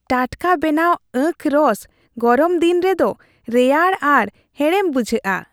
ᱴᱟᱴᱠᱟ ᱵᱮᱱᱟᱣ ᱟᱸᱠᱷ ᱨᱚᱥ ᱜᱚᱨᱚᱢ ᱫᱤᱱ ᱨᱮ ᱫᱚ ᱨᱮᱭᱟᱲ ᱟᱨ ᱦᱮᱲᱮᱢ ᱵᱩᱡᱷᱟᱹᱜᱼᱟ ᱾